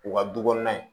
U ka du kɔnɔna in